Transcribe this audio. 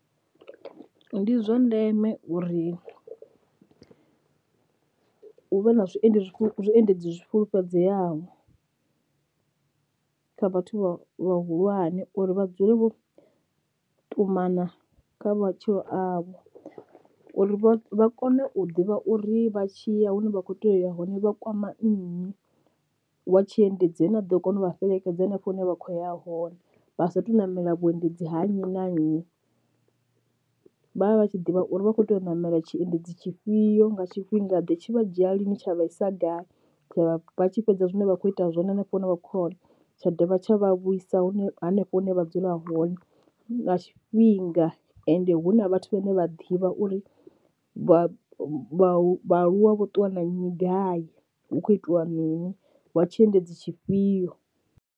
Ndi zwa ndeme uri hu vhe na zwiendedzi zwiendedzi zwi fulufhedzeaho kha vhathu vha vhahulwane uri vha dzule vho ṱumana kha matshilo avho, uri vha kone u ḓivha uri vha tshi ya hune vha kho tea uya hone vha kwama nnyi wa tshi endedzi ane a ḓo kona u vha fhelekedza henefho hune vha khoya hone vha sa athu u ṋamela vhuendedzi ha nnyi na nnyi. Vha vha vha tshi ḓivha uri vha kho tea u ṋamela tshiendedzi tshifhio nga tshifhinga ḓe tshi vha dzhia lini tsha vha isa gai tsha vha tshi fhedza zwine vha kho ita zwone hanefho hune vha khoya hone tsha dovha tsha vha vhuisa hune hanefho hune vha dzula hone nga tshifhinga, ende hu na vhathu vhane vha ḓivha uri vha vha vhaaluwa vho ṱuwa na nnyi gai hu kho itiwa mini wa tshiendedzi tshifhio.